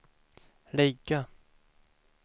ligga